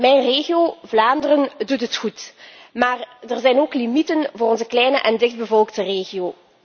Mijn regio, Vlaanderen, doet het goed, maar er zijn ook limieten voor onze kleine en dichtbevolkte regio.